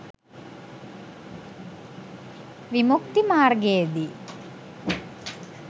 විමුක්ති මාර්ගයේ දී